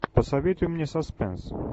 посоветуй мне саспенс